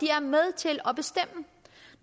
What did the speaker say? er med til